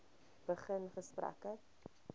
begin gesprekke